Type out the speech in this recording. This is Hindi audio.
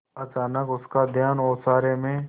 अचानक उसका ध्यान ओसारे में